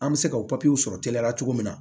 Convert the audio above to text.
An bɛ se ka o sɔrɔ teliya la cogo min na